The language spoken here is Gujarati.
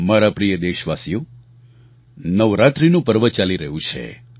મારા પ્રિય દેશવાસીઓ નવરાત્રિનું પર્વ ચાલી રહ્યું છે